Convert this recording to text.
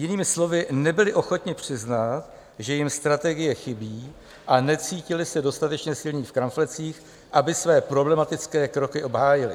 Jinými slovy, nebyli ochotni přiznat, že jim strategie chybí, a necítili se dostatečně silní v kramflecích, aby své problematické kroky obhájili.